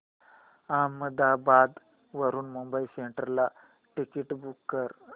अहमदाबाद वरून Mumbai central ticket book कर